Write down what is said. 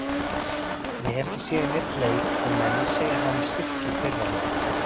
Ég hef ekki séð neinn leik en menn segja að hann styrki þeirra leik.